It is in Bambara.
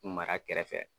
Mara kɛrɛfɛ